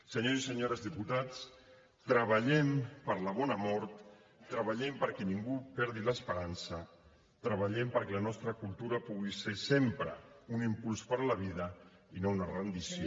senyores i senyores diputats treballem per la bona mort treballem perquè ningú perdi l’esperança treballem perquè la nostra cultura pugui ser sempre un impuls per a la vida i no una rendició